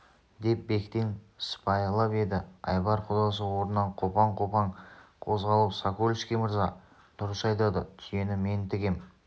деп бектен сыпайылап еді айбар құдасы орнынан қопаң-қопаң қозғалып сокольский мырза дұрыс айтады түйені мен тігем